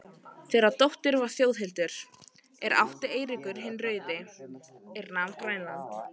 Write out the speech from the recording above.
Þeirra dóttir var Þjóðhildur, er átti Eiríkur hinn rauði, er nam Grænland.